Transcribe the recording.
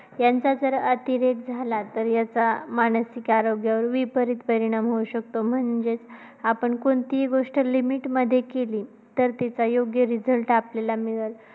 यांचा जर अतिरेक झाला तर याचा मानसिक आरोग्यावर विपरीत परिणाम होऊ शकतो. म्हणजे आपण कोणतीही गोष्ट limit मध्ये केली, तर त्याचा योग्य result आपल्याला मिळतो.